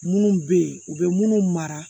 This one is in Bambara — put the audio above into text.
Munnu be yen u be munnu mara